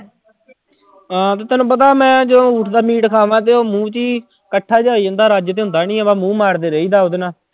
ਹਾਂ ਤੇ ਤੈਨੂੰ ਪਤਾ ਮੈਂ ਜੇ ਊਠ ਦਾ meat ਖਾਵਾਂ ਤੇ ਉਹ ਮੂੰਹ ਚ ਹੀ ਇਕੱਠਾ ਜਿਹਾ ਹੋਈ ਜਾਂਦਾ ਰੱਜ ਤੇ ਹੁੰਦਾ ਨੀ ਹੈ ਬਸ ਮੂੰਹ ਮਾਰਦੇ ਰਹੀਦਾ ਉਹਦੇ ਨਾਲ।